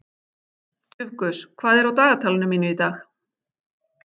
Dufgus, hvað er á dagatalinu mínu í dag?